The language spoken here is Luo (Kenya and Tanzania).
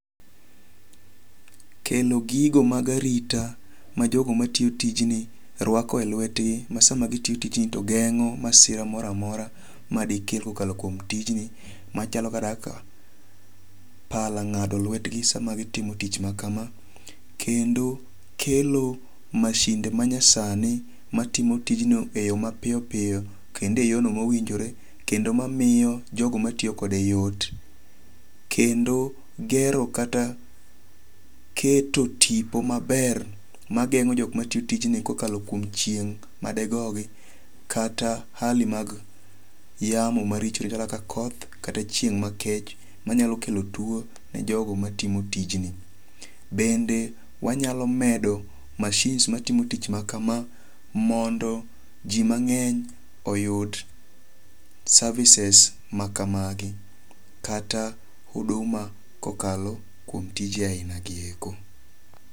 Kelo gigo mag arita ma jogo matiyotijni rwako e lwetgi ma sama gitiyo tijni to geng'o masira moro amora ma dike kokalo kuom tijni machalo kaka pala ng'ado lwetgi sama gitimo tich makama. Kendo kelo mashinde manyasani matimo tijno e yo ma piyo piyo kendo e yo no mowinjore kendo mamiyo jogo matiyokode yot. Kendo gero kata keto tipo maber mageng'o jok matiyo tijni kokalo kuom chieng' madegogi kata hali mag yamo maricho kaka koth kata chieng' makech manyalo kelo tuo ne jogi matimo tijni. Bende wanyalo medo mashins matimo tich makama mondo ji mang'eny oyud services makamagi kata huduma kokalo kuom tije ainagi eko.